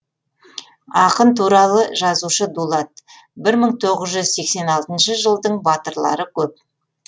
ақын туралы жазушы дулат бір мың тоғыз жүз сексен алтыншы жылдың батырлары көп